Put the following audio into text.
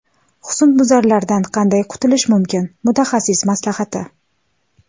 Husnbuzarlardan qanday qutulish mumkin: mutaxassis maslahati.